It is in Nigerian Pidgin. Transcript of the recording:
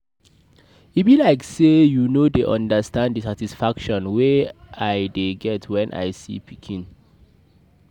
E be like say you no dey understand the satisfaction I dey get wen I see my pikin.